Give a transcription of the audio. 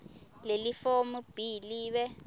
lelifomu b libe